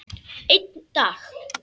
Einn dag!